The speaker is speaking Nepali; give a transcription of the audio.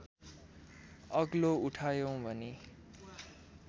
अग्लो उठायौँ भने